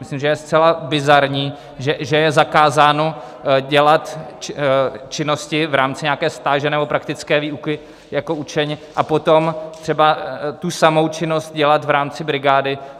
Myslím, že je zcela bizarní, že je zakázáno dělat činnosti v rámci nějaké stáže nebo praktické výuky jako učeň, a potom třeba tu samou činnost dělat v rámci brigády.